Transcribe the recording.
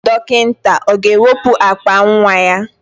Dọkịta ọ ga-ewepụ akpa nwa ya?